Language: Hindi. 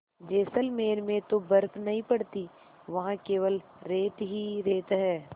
जैसलमेर में तो बर्फ़ नहीं पड़ती वहाँ केवल रेत ही रेत है